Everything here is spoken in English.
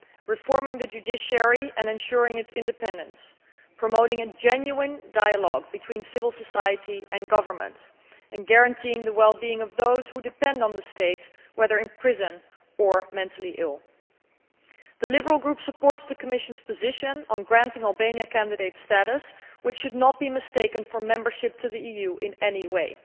reforming the judiciary and ensuring its independence, promoting a genuine dialogue between civil society and government, and guaranteeing the well being of those who depend on the state, whether in prison or mentally ill. The Liberal Group supports the Commission's position on granting Albania candidate status, which should not be mistaken for membership of the EU in any way.